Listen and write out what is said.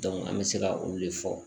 an bɛ se ka olu de fɔ